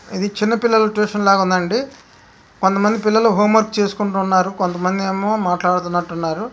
అది చిన్న పిల్లల ట్యూషన్ లాగా ఉంది. కొంతమంది పిల్లలు హోమ్ వర్క్ చేసుకుంటూ ఉన్నారు. మో మాట్లాడుతున్నట్టు ఉన్నారు.